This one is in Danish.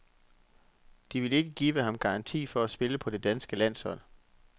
De vil ikke give ham garanti for at spille på det danske landshold.